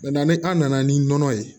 ni an nana ni nɔnɔ ye